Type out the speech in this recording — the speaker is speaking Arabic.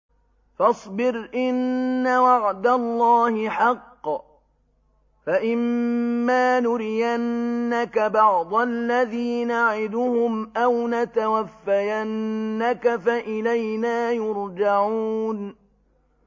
فَاصْبِرْ إِنَّ وَعْدَ اللَّهِ حَقٌّ ۚ فَإِمَّا نُرِيَنَّكَ بَعْضَ الَّذِي نَعِدُهُمْ أَوْ نَتَوَفَّيَنَّكَ فَإِلَيْنَا يُرْجَعُونَ